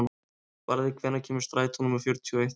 Barði, hvenær kemur strætó númer fjörutíu og eitt?